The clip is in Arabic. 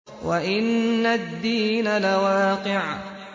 وَإِنَّ الدِّينَ لَوَاقِعٌ